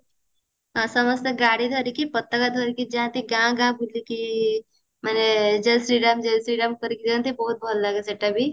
ସମସ୍ତେ ଗାଡି ଧରିକି ପତକା ଧରିକି ଯାନ୍ତି ଗାଁ ଗାଁ ବୁଲିକି ମାନେ ଜୟ ଶ୍ରୀରାମ ଜୟ ଶ୍ରୀରାମ କରିକି ଯାନ୍ତି ବହୁତ ଭଲ ଲାଗେ ସେଟା ବି